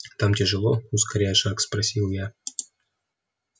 там тяжело ускоряя шаг спросил я